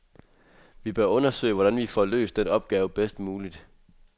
Vi bør undersøge, hvordan vi får løst den opgave bedst muligt.